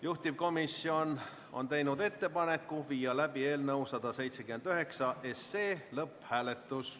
Juhtivkomisjon on teinud ettepaneku viia läbi eelnõu 179 lõpphääletus.